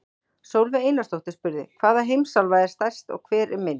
Sólveig Einarsdóttir spurði: Hvaða heimsálfa er stærst og hver er minnst?